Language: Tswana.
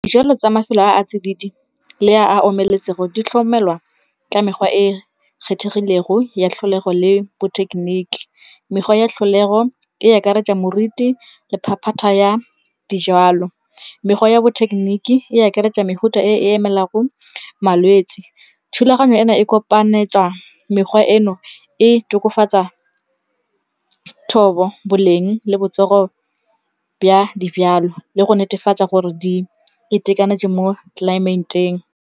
Dijalo tsa mafelo a a tsididi le a a omeletseng go di tlhokomelwa ka mekgwa e kgethegile go ya tlholego le bo thekeniki. Mekgwa ya tlholego e akaretsa moriti le phaphata ya dijalo. Mekgwa ya bo thekeniki e akaretsa mefuta e e emelang go malwetse. Thulaganyo ena e kopanetswa mekgwa eno e tokafatsa thobo, boleng le botsogo ba dijalo le go netefatsa gore di itekanetse mo tlelaemeteng.